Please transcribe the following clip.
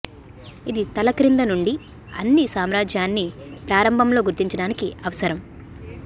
ఇది తల క్రింద నుండి అన్ని సామ్రాజ్యాన్ని ప్రారంభంలో గుర్తించడానికి అవసరం